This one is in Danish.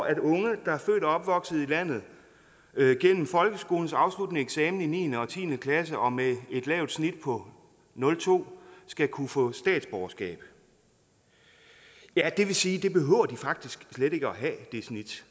at unge der er født og opvokset i landet gennem folkeskolens afsluttende eksamen i niende og tiende klasse og med et lavt snit på nul to skal kunne få statsborgerskab ja det vil sige at det snit